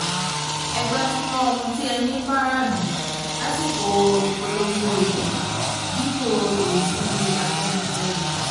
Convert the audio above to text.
ẹ gbajúmọ̀ ohun tí ẹ ní fara ìlú lásìkò ìpolongo ìbò dípò èébú afẹ́nifẹ́re